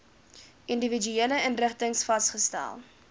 individuele inrigtings vasgestel